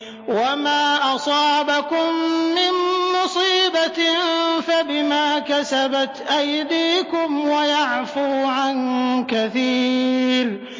وَمَا أَصَابَكُم مِّن مُّصِيبَةٍ فَبِمَا كَسَبَتْ أَيْدِيكُمْ وَيَعْفُو عَن كَثِيرٍ